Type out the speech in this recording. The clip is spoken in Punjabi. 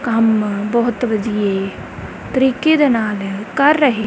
ਕੰਮ ਬਹੁਤ ਵਧੀਆ ਤਰੀਕੇ ਦੇ ਨਾਲ ਕਰ ਰਹੇ--